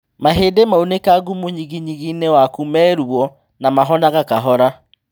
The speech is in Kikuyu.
Mahĩndĩ maunĩkangu mũnyiginyigi-inĩ waku me ruo na mahonaga kahora